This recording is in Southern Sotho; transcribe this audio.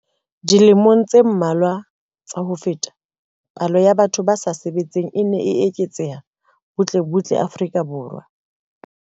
Dilemong tse mmalwa tsa ho feta, palo ya batho ba sa sebetseng e ne e eketseha butle butle Afrika Borwa.